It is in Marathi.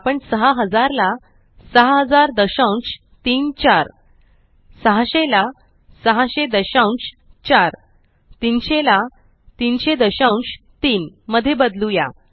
आपण 6000 ला 600034 600 ला 6004 300 ला 3003 मध्ये बदलुया